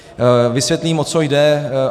Vysvětlím, o co jde.